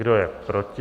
Kdo je proti?